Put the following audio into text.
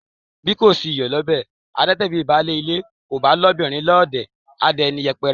Bí kò sí iyọ̀ lọ́bẹ̀, a dátẹ; bi baálé ilé kò bá lóbìnrin lọ́ọ̀dẹ̀ a dẹni yẹpẹrẹ.